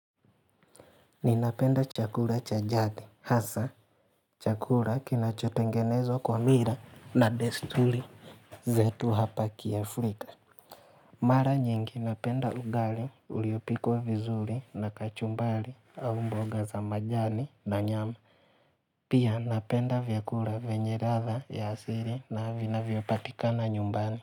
Ninapenda chakula cha jadi hasa chakula kinachotengenezwa kwa mila na desturi zetu hapa kiafrika Mara nyingi napenda ugali uliopikwa vizuri na kachumbari au mboga za majani na nyama Pia napenda vyakula venye ladha ya asili na vinavyopatikana nyumbani.